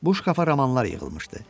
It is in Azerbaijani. Bu şkafa romanlar yığılmışdı.